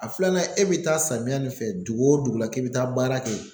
A filanan e bɛ taa samiya nin fɛ dugu o dugu la k'i bɛ taa baara kɛ